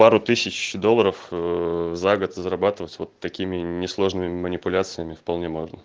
пару тысяч долларов ээ за год зарабатывать вот такими несложными манипуляциями вполне можно